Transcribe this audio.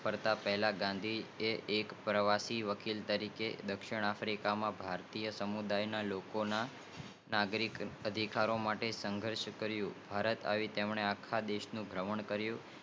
પરત ફરતા પહેલા ગાંધી જી આ પ્રવેશી વકીલ તરીકે દક્ષિણઆફ્રિકા માં ભારતીય સમુદાય ના લોકો ના નાગરિક અધિકારી માટે સંધર્ષ કરીયુ